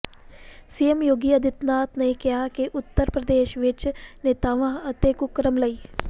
CM Yogi Adityanath ਨੇ ਕਿਹਾ ਕਿ ਉੱਤਰ ਪ੍ਰਦੇਸ਼ ਵਿੱਚ ਨੇਤਾਵਾਂ ਅਤੇ ਕੁਕਰਮ ਲਈ